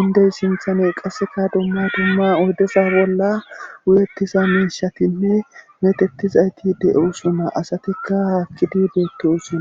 indey sinthane qasseka dumma dumma oydesa bolla wuyettisa miishatinne metettizayti de7o suma asatikka haakkidibeetosuna